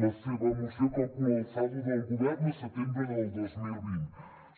la seva moció calcula el saldo del govern a setembre del dos mil vint